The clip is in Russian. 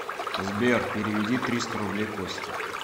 сбер переведи триста рублей косте